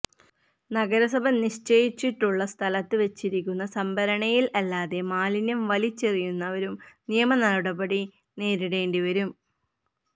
നഗരസഭ നിശ്ചയിച്ചിട്ടുള്ള സ്ഥലത്ത് വച്ചിരിക്കുന്ന സംഭരണിയില് അല്ലാതെ മാലിന്യം വലിച്ചെറിയുന്നവരും നിയമനടപടി നേരിടേണ്ടിവരും